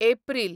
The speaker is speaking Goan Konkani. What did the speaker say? एप्रील